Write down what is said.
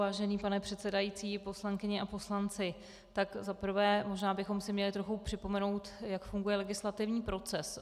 Vážený pane předsedající, poslankyně a poslanci, tak za prvé, možná bychom si měli trochu připomenout, jak funguje legislativní proces.